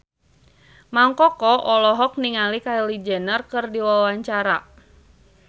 Mang Koko olohok ningali Kylie Jenner keur diwawancara